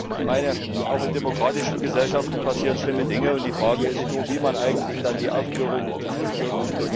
Ich meine, auch in demokratischen Gesellschaften passieren schlimme Dinge, und die Frage ist eigentlich nur, wie man dann die Aufklärung durchführt.